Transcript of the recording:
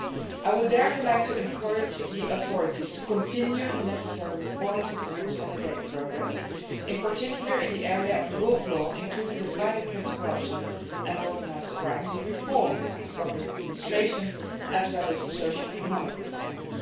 I would therefore like to encourage the authorities to continue the necessary reforms and to consolidate progress in particular in the area of the rule of law, including the fight against corruption and organised crime, the reform of public administration and socio economic reforms.